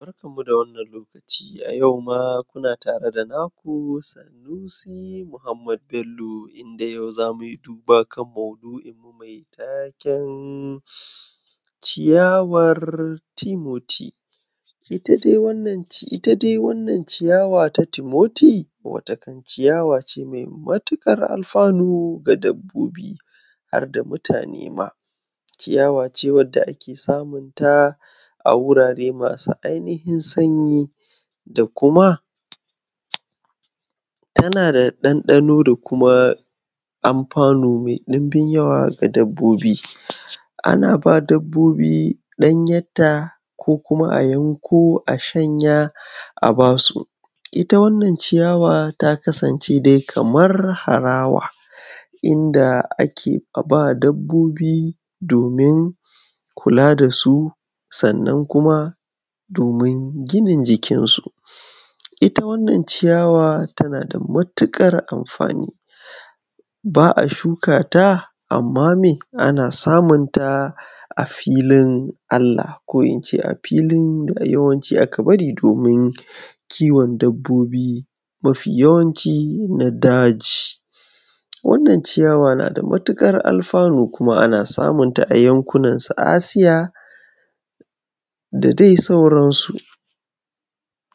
Barkanku da wannan lokaci a yau kuma tare da naku sanusi Muhammad Bello.inda yau za mu yi duba kan maudu'inmu mai taken ciyawar Timothy. Ita dai wannan ciyawar ta Timothy ciyawa ce mai matuƙar alfanu ga dabbobi har ma da mutane ciyawa ce wanda ake samun ta a wurare masu ainifin sanyi tana da ɗan ɗano da kuma amfanu mai ɗinbin yawa ga dabbobi ana ba dabbobi ɗanye ta ko kuma yanko a s hanya a ba su iya wannan ciyawa ta kasance kamar harawa inda ake a ba dabbobi kula da su Sannan kuma domin ginin jikinsu ita wannan shi yawa tana da matuƙar amfani ba a shukata amma me ana samunta a filin Allah ko a filin da yawanci da aka bari domin kiwon dabbobi mafi yawanci na daji. Wannan ciyawa na da matuƙar alfanu kuma ana samunta a yankunan su Asia da dai sauransu.